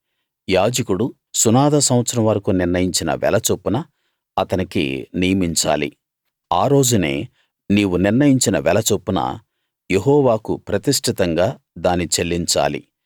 యాజకుడు సునాద సంవత్సరం వరకూ నిర్ణయించిన వెల చొప్పున అతనికి నియమించాలి ఆ రోజునే నీవు నిర్ణయించిన వెల చొప్పున యెహోవాకు ప్రతిష్ఠితంగా దాని చెల్లించాలి